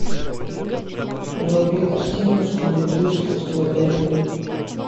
вруби картину скуби ду искусство борьбы